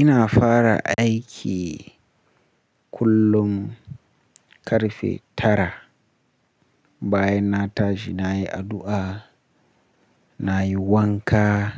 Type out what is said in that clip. Ina fara aiki kullum karfe tara. Bayan na tashi na yi addu'a, na yi wanka,